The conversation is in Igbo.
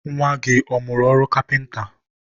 nwa gị ọ mụrụ ọrụ kapịnta?